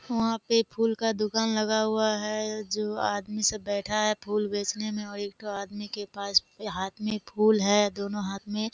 वहाँ पे फूल का दुकान लगा हुआ है जो आदमी सब बैठा है फूल बेचने में और एक ठो आदमी के पास हाथ में फूल है दोनों हाथ में --